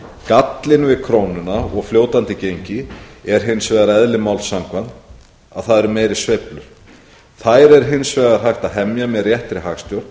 gallinn við krónuna og fljótandi gengi er hins vegar eðli máls samkvæmt að það eru meiri sveiflur þær er hins vegar hægt að hemja með réttri hagstjórn